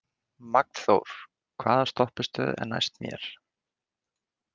Magnþór, hvaða stoppistöð er næst mér?